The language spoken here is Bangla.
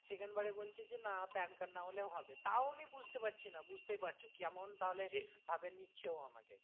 second বারে বলছে যে না PAN card না হলেও হবে তাও আমি বুঝতে পারছি না বুঝতে পারছো যে কেমন তাহলে ভাবে নিচ্ছে ও আমাকে।